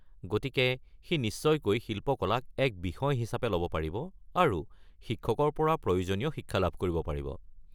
গতিকে সি নিশ্চয়কৈ শিল্পকলাক এক বিষয় হিচাপে ল'ব পাৰিব আৰু শিক্ষকৰ পৰা প্ৰয়োজনীয় শিক্ষা লাভ কৰিব।